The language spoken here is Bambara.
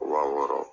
Wa wɔɔrɔ